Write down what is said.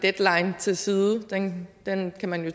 deadline til side den den kan man jo